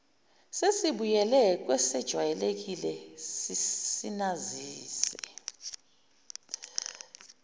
sesibuyele kwesejwayelekile sinazise